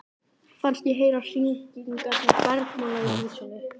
Fannst ég heyra hringingarnar bergmála í húsinu.